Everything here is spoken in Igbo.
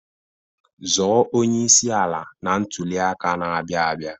Zọọ onyeisi ala na ntụli aka na-abịa abịa!